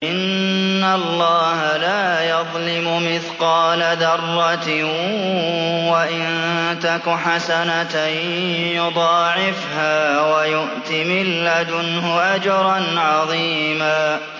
إِنَّ اللَّهَ لَا يَظْلِمُ مِثْقَالَ ذَرَّةٍ ۖ وَإِن تَكُ حَسَنَةً يُضَاعِفْهَا وَيُؤْتِ مِن لَّدُنْهُ أَجْرًا عَظِيمًا